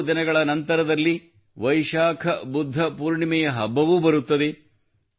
ಕೆಲವು ದಿನಗಳ ನಂತರದಲ್ಲೇ ವೈಶಾಖ ಬುದ್ಧ ಪೂರ್ಣಿಮೆಯ ಹಬ್ಬವೂ ಬರುತ್ತದೆ